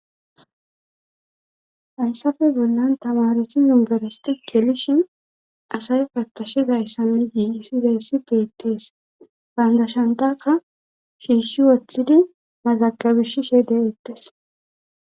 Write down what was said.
Hayssafe bollan tamareti yungerasti gelishin asay pattashiza ayssani yiiisideessi peettees bayndashantaka shiishshi woththidi mazaqabish shede ettes.